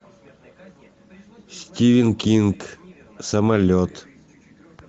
стивен кинг самолет